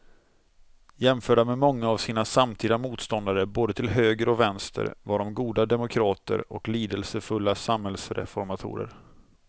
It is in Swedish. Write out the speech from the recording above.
Jämförda med många av sina samtida motståndare både till höger och vänster var de goda demokrater och lidelsefulla samhällsreformatorer.